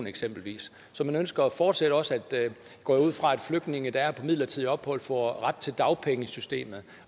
eksempelvis så man ønsker fortsat også går jeg ud fra at flygtninge der er her på midlertidigt ophold får ret til dagpengesystemet